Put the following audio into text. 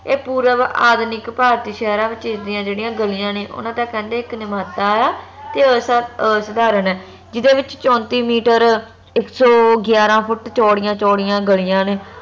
ਏਹ ਪੂਰਵ ਆਧੁਨਿਕ ਭਾਰਤੀ ਸ਼ਹਿਰਾਂ ਵਿਚ ਇਸ ਦੀਆ ਜਿਹੜੀਆਂ ਗਲੀਆਂ ਨੇ ਓਹਨਾ ਦਾ ਕਹਿੰਦੇ ਇਕ ਆ ਤੇ ਉਸ ਅਸਧਾਰਨ ਹੈ ਜਿਹੜੇ ਵਿਚ ਚੌਂਤੀ ਮੀਟਰ ਇਕ ਸੋ ਗਿਆਰਾਂ ਫੁੱਟ ਚੋਡੀਆਂ ਚੋਡੀਆਂ ਗਲੀਆਂ ਨੇ